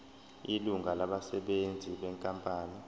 ilungu labasebenzi benkampani